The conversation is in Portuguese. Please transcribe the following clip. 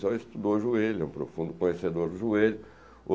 Ele só estudou joelhos, é um profundo conhecedor dos joelhos.